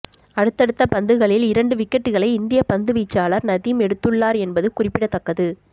அடுத்தடுத்த பந்துகளில் இரண்டு விக்கெட்டுக்களை இந்திய பந்துவீச்சாளர் நதீம் எடுத்துள்ளார் என்பது குறிப்பிடத்தக்கது